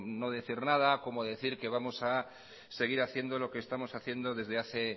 no decir nada como decir que vamos a seguir haciendo lo que estamos haciendo desde hace